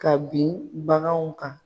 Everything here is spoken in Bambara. Ka bin baganw kan.